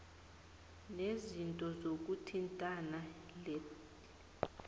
neziko lezokuthintana ledti